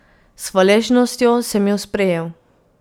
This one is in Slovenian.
S hvaležnostjo sem jo sprejel.